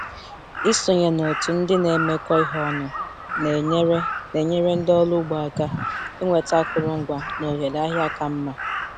Ịsonye n'òtù ndị na-emekọ ihe ọnụ na-enyere na-enyere ndị ọrụ ugbo aka ịnweta akụrụngwa na ohere ahịa ka mma.